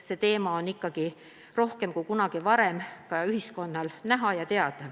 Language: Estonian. See teema on ikkagi rohkem kui kunagi varem kogu ühiskonnas näha ja teada.